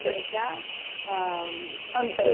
म जनधन योजनेचा अ